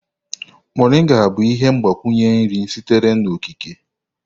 Moringa bụ ihe mgbakwunye nri sitere n'okike.